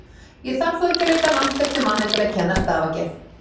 Ég þarf þó ekki að leita langt eftir manni til að kenna stafagerð